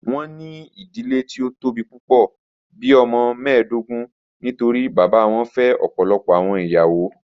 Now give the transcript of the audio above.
Wọn ni idile ti o tobi pupọ, bii ọmọ mẹẹdọgbọn nitori baba wọn fẹ ọpọlọpọ awọn iyawo.